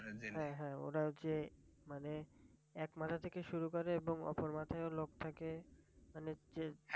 হ্যাঁ হ্যাঁ ওরা যে মানে এক মাথা থেকে শুরু করে এবং অপর মাথায় ও লোক থাকে